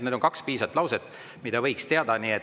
Need on kaks lauset, mida võiks teada.